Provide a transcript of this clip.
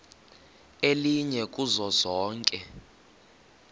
elinye kuzo zonke